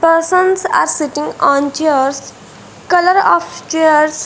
persons are sitting on chairs colour of chairs --